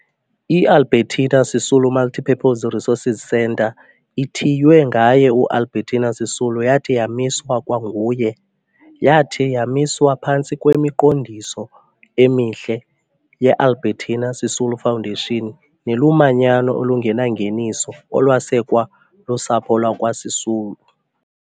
IAlbertina Sisulu Multipurpose Resource Centre ASC, ethiywe ngaye uAlbertina Sisulu, yathi yamiswa kwanguye. Yathi yamiswa phantsi kwemiqondiso emihle yeAlbertina Sisulu Foundation nelumanyano olungenangeniso olwasekwa lusapho lakwaSisulu.